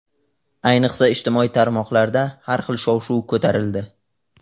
Ayniqsa, ijtimoiy tarmoqlarda har xil shov-shuv ko‘tarildi.